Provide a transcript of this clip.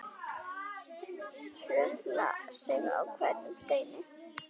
Hrufla sig á hverjum steini.